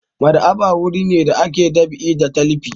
Maɗ'aba'a wuri ne da ake ɗab'i da talifi.